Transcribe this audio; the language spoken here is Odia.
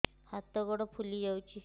ହାତ ଗୋଡ଼ ଫୁଲି ଯାଉଛି